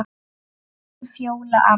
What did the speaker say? Elsku Fjóla amma.